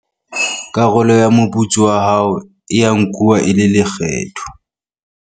karolo ya moputso wa hao e a nkuwa e le lekgetho